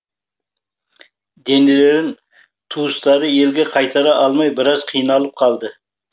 денелерін туыстары елге қайтара алмай біраз қиналып қалды